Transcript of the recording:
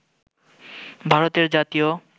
ভারতের জাতীয়